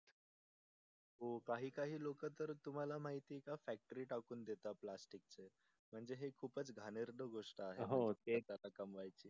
हो काही काही लोकं तर तुम्हाला माहिती आहे का फॅक्ट्री टाकुन देतात प्लास्टीक चे म्हणजे हे खूप घाणेरड गोष्ट आहे कमवायची